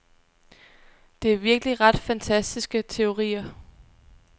Det er virkelig ret fantastiske teorier.